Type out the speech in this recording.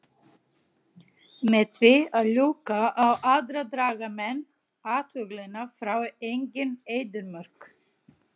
Með því að ljúga á aðra draga menn athyglina frá eigin eyðimörk.